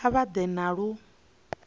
kha vha ḓe na lu